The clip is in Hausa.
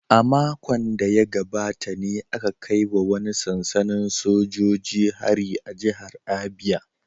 A makon da ya gabata ne aka kai wa wani sansanin sojoji hari a jihar Abia